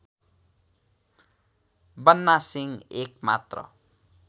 बन्ना सिंह एकमात्र